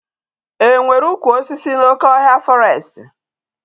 E nwere ụkwụ osisi n'oké ọhịa fọrestị?